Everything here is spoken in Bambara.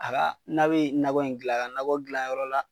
A ka n'a be nakɔ in gilan, a ka nakɔ gilan yɔrɔ la